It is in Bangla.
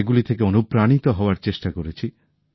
সেগুলি থেকে অনুপ্রাণিত হওয়ার চেষ্টা করেছি